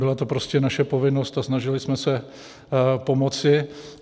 Byla to prostě naše povinnost a snažili jsme se pomoci.